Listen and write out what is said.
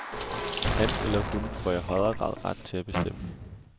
Han eller hun får i højere grad ret til at bestemme.